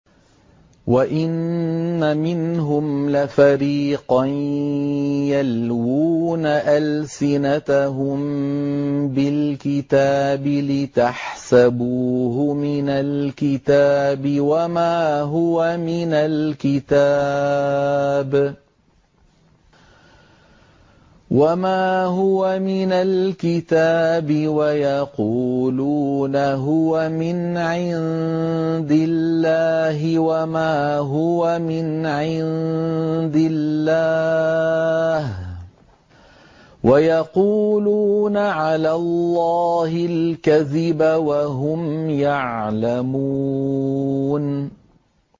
وَإِنَّ مِنْهُمْ لَفَرِيقًا يَلْوُونَ أَلْسِنَتَهُم بِالْكِتَابِ لِتَحْسَبُوهُ مِنَ الْكِتَابِ وَمَا هُوَ مِنَ الْكِتَابِ وَيَقُولُونَ هُوَ مِنْ عِندِ اللَّهِ وَمَا هُوَ مِنْ عِندِ اللَّهِ وَيَقُولُونَ عَلَى اللَّهِ الْكَذِبَ وَهُمْ يَعْلَمُونَ